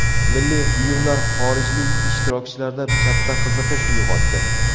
Milliy buyumlar xorijlik ishtirokchilarda katta qiziqish uyg‘otdi.